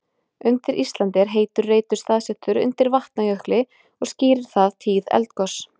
Undir Íslandi er heitur reitur staðsettur undir Vatnajökli og skýrir það tíð eldgos.